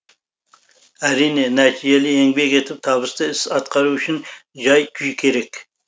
әрине нәтижелі еңбек етіп табысты іс атқару үшін жай күй керек